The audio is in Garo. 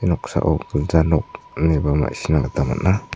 noksao gilja nok ineba ma·sina gita man·a.